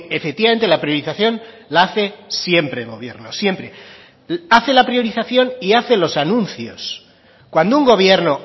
efectivamente la priorización la hace siempre el gobierno siempre hace la priorización y hace los anuncios cuando un gobierno